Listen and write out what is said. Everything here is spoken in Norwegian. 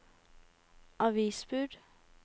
avisbud